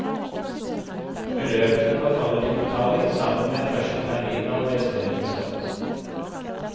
Beløpene forfaller til betaling sammen med første termin av resterende skatt.